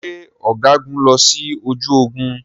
Ṣé ọ̀gágun lọ sí ojú ogun?